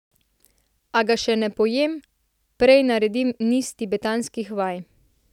A ga še ne pojem, prej naredim niz tibetanskih vaj.